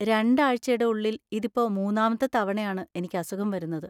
രണ്ട് ആഴ്ചയുടെ ഉള്ളിൽ ഇതിപ്പോ മൂന്നാമത്തെ തവണയാണ് എനിക്ക് അസുഖം വരുന്നത്.